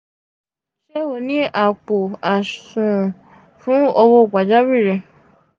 ṣe o ni apo asuwon fun owo pajawiri?